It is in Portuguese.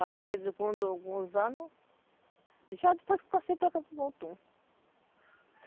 Aí, com alguns anos, já depois que eu passei para cá